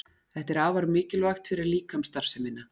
Þetta er afar mikilvægt fyrir líkamsstarfsemina.